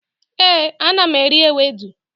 éè, ana m eri ewedu